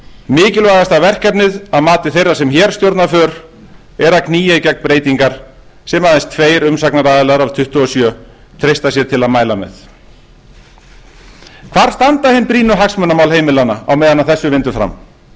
mikilvægasta verkefnið að mati þeirra sem hér stjórna för er að knýja í gegn breytingar sem aðeins tveir umsagnaraðilar af tuttugu og sjö treysta sér til að mæla með hvar standa hin brýnu hagsmunamál heimilanna á meðan þessu vindur fram jú